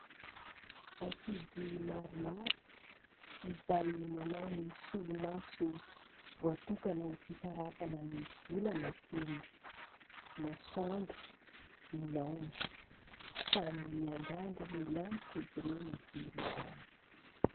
Ankizy maromaro izay manao ny solomaso voatokana ho fitarafana ny volana sy ny masoandro mihaona. Samy miandrandra ny lanitra izy ireo mijery izany.